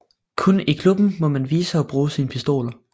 Kun i klubben må man vise og bruge sine pistoler